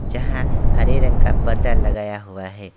जहां हरे रंग का फर्दा लगाया हुआ है।